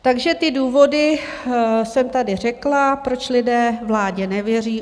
Takže ty důvody jsem tady řekla, proč lidé vládě nevěří.